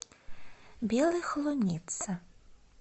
белой холунице